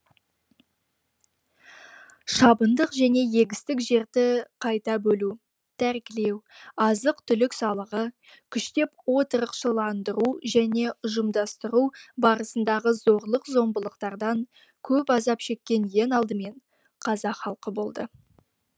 шабындық және егістік жерді қайта бөлу тәркілеу азық түлік салығы күштеп отырықшыландыру және ұжымдастыру барысындағы зорлық зомбылықтардан көп азап шеккен ең алдымен қазақ халқы болды